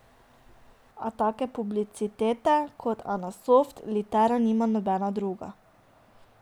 A take publicitete kot anasoft litera nima nobena druga.